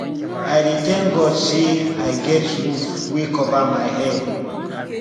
i dey thank god sey i get roof wey cover my head